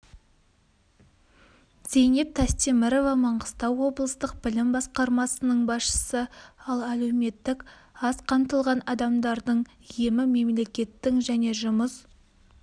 зейнеп тастемірова маңғыстау облыстық білім басқармасының басшысы ал әлеуметтік аз қамтылған адамдардың емі мемлекеттің және жұмыс